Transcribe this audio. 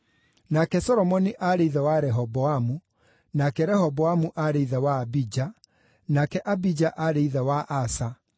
nake Solomoni aarĩ ithe wa Rehoboamu, nake Rehoboamu aarĩ ithe wa Abija, nake Abija aarĩ ithe wa Asa,